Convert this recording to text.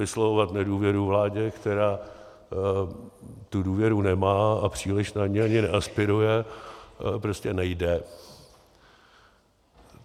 Vyslovovat nedůvěru vládě, která tu důvěru nemá a příliš na ni ani neaspiruje, prostě nejde.